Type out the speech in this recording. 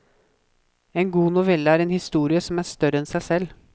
En god novelle er en historie som er større enn seg selv.